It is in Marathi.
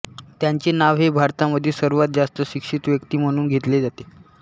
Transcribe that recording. त्यांचे नाव हे भारतामधील सर्वांत जास्त शिक्षित व्यक्ती म्हणून घेतले जाते